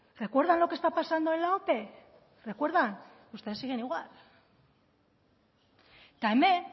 recuerdan lo que está pasando en la ope recuerdan ustedes siguen igual eta hemen